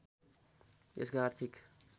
यसको आर्थिक